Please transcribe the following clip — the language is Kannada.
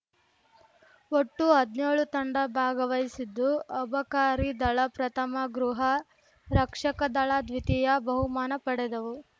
ಒಟ್ಟು ಹದ್ನ್ಯೋಳು ತಂಡ ಭಾಗವಹಿಸಿದ್ದು ಅಬಕಾರಿ ದಳ ಪ್ರಥಮ ಗೃಹ ರಕ್ಷಕ ದಳ ದ್ವಿತೀಯ ಬಹುಮಾನ ಪಡೆದವು